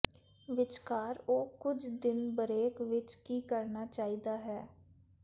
ਵਿਚਕਾਰ ਉਹ ਕੁਝ ਦਿਨ ਬਰੇਕ ਵਿਚ ਕੀ ਕਰਨਾ ਚਾਹੀਦਾ ਹੈ